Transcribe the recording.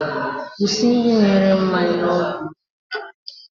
Kwụsị ịdị na-ere mmanya n'ọdọ ụgbọelu.